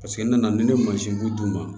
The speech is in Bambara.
Paseke ne nana ni ne ye mansinw d'u ma